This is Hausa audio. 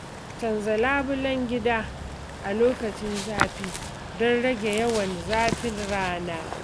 canza labulen gida a lokacin zafi don rage yawan zafin rana.